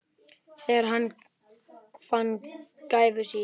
Þegar hann fann gæfu sína.